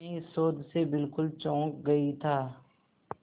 मैं इस शोध से बिल्कुल चौंक गई था